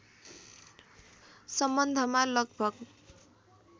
सम्बन्धमा लगभग